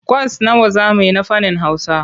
Kwas nawa za mu yi na fannin Hausa?